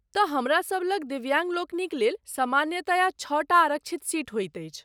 तँ हमरा सब लग दिव्याङ्गलोकनिक लेल सामान्यतया छओटा आरक्षित सीट होइत अछि।